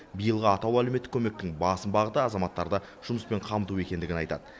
биылғы атаулы әлеуметтік көмектің басым бағыты азаматтарды жұмыспен қамту екендігін айтады